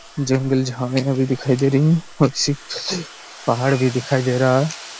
जंगल झाड़िया भी दिखाई दे रही है कुछ पहाड़ भी दिखाई दे रहा है।